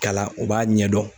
Kalan u b'a ɲɛdɔn.